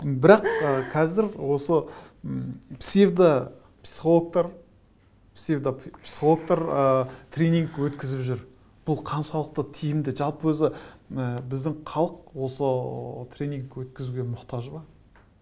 бірақ ы қазір осы м псевдопсихологтар псевдопсихологтар ыыы тренинг өткізіп жүр бұл қаншалықты тиімді жалпы өзі ы біздің халық осы ы тренинг өткізуге мұқтаж ба